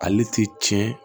Ale ti tiɲɛ